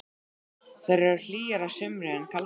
Þær eru hlýjar að sumri en kaldar á vetrum.